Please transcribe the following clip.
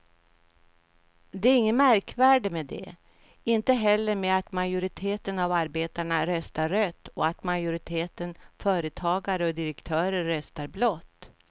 Det är inget märkvärdigt med det, inte heller med att majoriteten av arbetarna röstar rött och att majoriteten företagare och direktörer röstar blått.